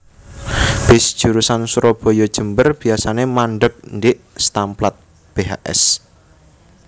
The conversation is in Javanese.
Bis jurusan Surabaya Jember biasane mandheg ndhik stamplat Bhs